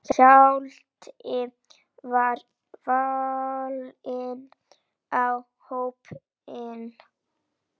Hjalti var valinn í hópinn.